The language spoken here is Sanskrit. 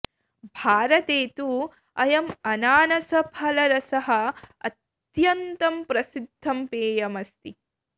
भारते तु अयं अनानसफलरसः अत्यन्तं प्रसिद्धं पेयम् अस्ति